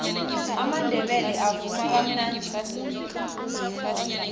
amandebele avuma kamnadi khulu